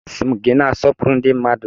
Asị m gị na-asọpụrụ ndi mmadu!